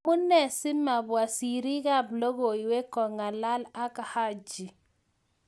Amuee si mabwa serii ab lokoiwek kongalal ak Haji?